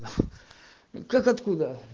как откуда